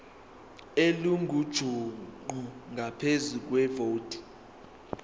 elingujuqu ngaphezu kwevoti